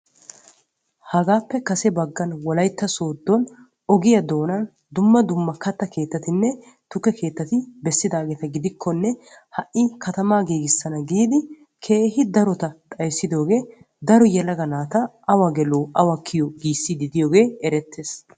Hagaappe kase baggaan wolaytta sooddo ogiyaa doonan dumma dumma katta keettatinne tukke keettati bessidaageta gidikkonne ha'i katamaa giigissana giidi keehi darota xayssidoogee daro yelaga naata awa gelo awa kiyo giissiidi diyoogee erettees.